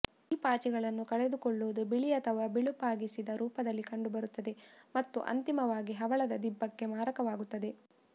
ಈ ಪಾಚಿಗಳನ್ನು ಕಳೆದುಕೊಳ್ಳುವುದು ಬಿಳಿ ಅಥವಾ ಬಿಳುಪಾಗಿಸಿದ ರೂಪದಲ್ಲಿ ಕಂಡುಬರುತ್ತದೆ ಮತ್ತು ಅಂತಿಮವಾಗಿ ಹವಳದ ದಿಬ್ಬಕ್ಕೆ ಮಾರಕವಾಗುತ್ತದೆ